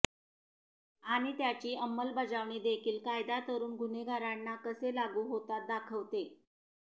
आणि त्याची अंमलबजावणी देखील कायदा तरूण गुन्हेगारांना कसे लागू होतात दाखवते